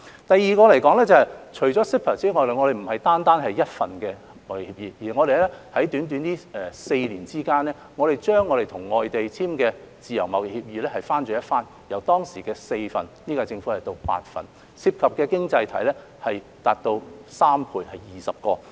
第二方面，除了 CEPA 之外，我們不單簽訂了一份貿易協議，在短短的4年間，我們把與外地簽訂的自由貿易協議翻了一番，由當時的4份到現屆政府的8份，涉及的經濟體達到3倍，共有20個。